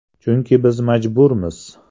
Chunki biz majburmiz.